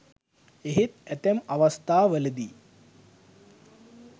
එහෙත් ඇතැම් අවස්ථා වලදී